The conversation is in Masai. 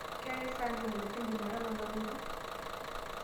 keetai sa ntumoritin jumatano nalotu